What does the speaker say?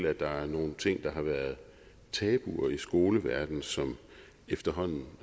at der er nogle ting der har været tabuer i skoleverdenen som efterhånden